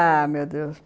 Ah, meu Deus.